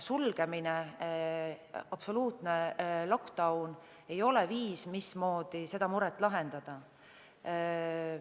Sulgemine, absoluutne lockdown ei ole viis, mismoodi seda muret lahendada.